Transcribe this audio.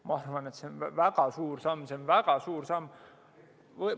Ma arvan, et see on väga suur samm.